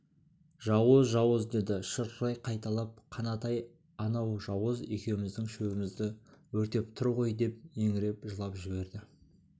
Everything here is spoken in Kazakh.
жауыз жауыз деді шырқырай қайталап қанатай анау жауыз екеуміздің шөбімізді өртеп тұр ғой деп еңіреп жылап жіберді